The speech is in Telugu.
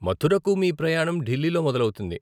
మథురకు మీ ప్రయాణం ఢిల్లీలో మొదలవుతుంది.